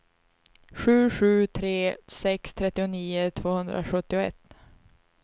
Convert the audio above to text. sju sju tre sex trettionio tvåhundrasjuttioett